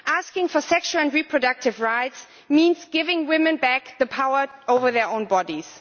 Asking for sexual and reproductive rights means giving women back the power over their own bodies.